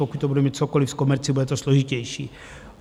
Pokud to bude mít cokoliv s komercí, bude to složitější.